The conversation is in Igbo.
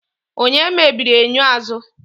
Onye mebiri enyo azụ?